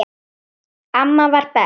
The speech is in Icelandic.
Amma var best.